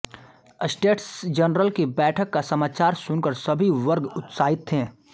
states General की बैठक का समाचार सुनकर सभी वर्ग उत्साहित थे